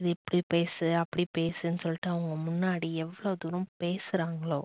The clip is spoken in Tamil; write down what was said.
இது இப்படி பேசு, அப்படி பேசுனு சொல்லிட்டு அவங்க முன்னாடி எவ்வளவு தூரம் பேசுறாங்களோ